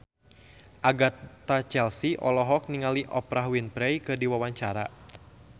Agatha Chelsea olohok ningali Oprah Winfrey keur diwawancara